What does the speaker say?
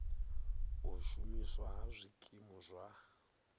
u shumiswa ha zwikimu zwa